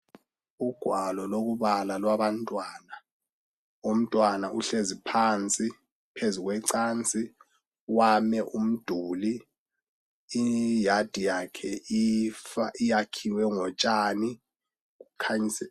Ugwalo lokubala lwabantwana. Umntwana uhlezi phansi phezu kwecansi, weyame umduli. Iyadi yakhe iyakhiwe ngotshani.